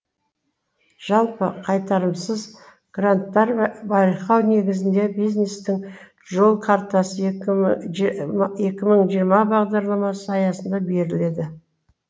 жалпы қайтарымсыз гранттар байқау негізінде бизнестің жол картасы екі мың жиырма бағдарламасы аясында беріледі